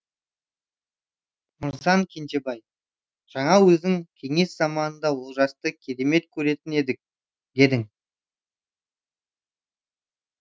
мырзан кенжебаи жаңа өзің кеңес заманында олжасты керемет көретін едік дедің